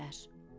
dedilər: